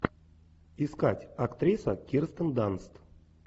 искать актриса кирстен данст